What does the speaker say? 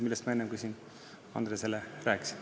Enne ma sellest Andresele juba rääkisin.